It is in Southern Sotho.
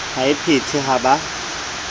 ha e phethwe ha ba